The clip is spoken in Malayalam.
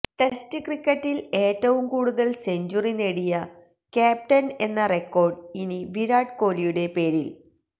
ടെസ്റ്റ് ക്രിക്കറ്റില് ഏറ്റവും കൂടുതല് സെഞ്ചുറി നേടിയ ക്യാപ്റ്റന് എന്ന റെക്കോര്ഡ് ഇനി വിരാട് കോഹ്ലിയുടെ പേരില്